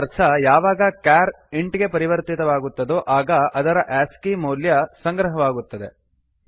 ಇದರ ಅರ್ಥ ಯಾವಾಗ ಚಾರ್ ಕ್ಯಾರ್ ಇಂಟ್ ಇಂಟ್ ಗೆ ಪರಿವರ್ತಿತವಾಗುತ್ತದೋ ಆಗ ಅದರ ಆಸ್ಕಿ ಆಸ್ಕಿ ಮೌಲ್ಯ ಸಂಗ್ರಹವಾಗುತ್ತದೆ